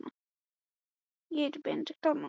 Jonni dró upp límið og plastpokann.